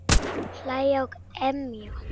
Hlæja og emja.